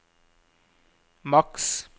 maks